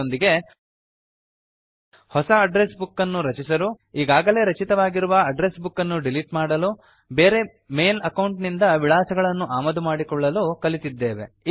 ಇದರೊಂದಿಗೆ ಹೊಸ address book ಅನ್ನು ರಚಿಸಲು ಈಗಾಗಲೇ ರಚಿತವಾಗಿರುವ ಅಡ್ಡ್ರೆಸ್ ಬುಕ್ ಅನ್ನು ಡಿಲೀಟ್ ಮಾಡಲು ಬೇರೆ ಮೇಲ್ ಅಕೌಂಟ್ ನಿಂದ ವಿಳಾಸಗಳನ್ನು ಆಮದು ಮಾಡಿಕೊಳ್ಳಲು ಕಲಿತಿದ್ದೇವೆ